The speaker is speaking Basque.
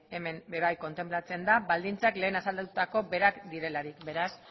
hemen kontenplatzen da baldintzak lehen azaldutako berak direlarik beraz